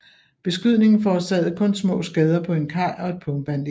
Beskydningen forårsagede kun små skader på en kaj og et pumpeanlæg